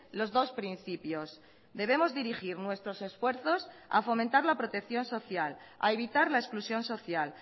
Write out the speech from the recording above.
los dos principios debemos dirigir nuestros esfuerzos a fomentar la protección social a evitar la exclusión social